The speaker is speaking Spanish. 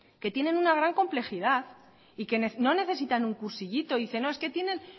que tienen una gran complejidad no necesitan un cursillito dice no es que tienen